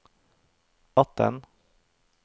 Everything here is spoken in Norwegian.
atten